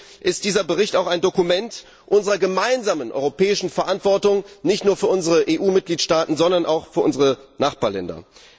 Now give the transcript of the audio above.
Deswegen ist dieser Bericht auch ein Dokument unserer gemeinsamen europäischen Verantwortung nicht nur für unsere EU Mitgliedstaaten, sondern auch für unsere Nachbarländer.